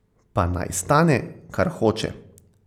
Pa naj stane, kar hoče.